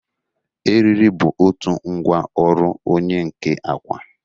Eriri bụ otu ngwa ọrụ onye nka akwa.